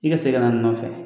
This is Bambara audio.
I ka segin ka na nɔfɛ